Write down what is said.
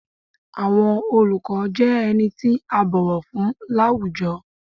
Àwọn oluko jẹ ení ti a bọwọ fun lawújọ́